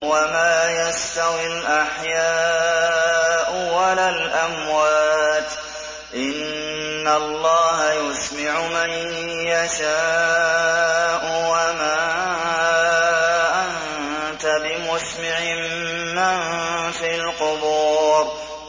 وَمَا يَسْتَوِي الْأَحْيَاءُ وَلَا الْأَمْوَاتُ ۚ إِنَّ اللَّهَ يُسْمِعُ مَن يَشَاءُ ۖ وَمَا أَنتَ بِمُسْمِعٍ مَّن فِي الْقُبُورِ